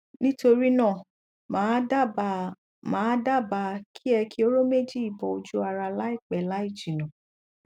nítorí náà màá dábàá màá dábàá kí ẹ ki hóró méjì yìí bọ ọjú ara láìpẹ láì jìnà